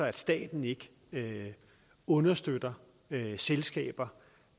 at staten ikke understøtter selskaber